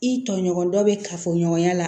I tɔɲɔgɔn dɔ bɛ kafo ɲɔgɔnya la